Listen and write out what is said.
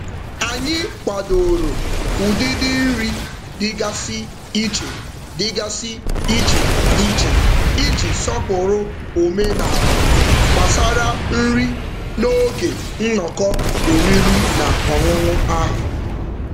Anyị kwadoro ụdịdị nri dịgasị iche dịgasị iche iche iji sọpụrụ omenaala gbasara nri n'oge nnọkọ oriri na ọṅụṅụ ahụ.